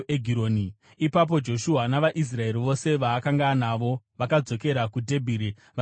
Ipapo Joshua navaIsraeri vose vaakanga anavo vakadzokera kuDhebhiri vakarirwisa.